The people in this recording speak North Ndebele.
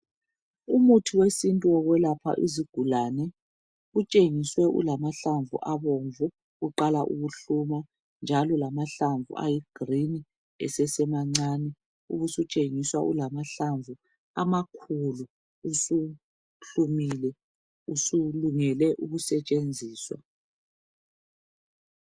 Umuthi wesintu wokwelapha izigulane utshengiswe ulamahlamvu abomvu, uqala ukuhluma njalo lamahlamvu ayi green esesemancane. Ubusutshengiswa ulamahlamvu amakhulu usuhlumile usulungele ukusetshenziswa.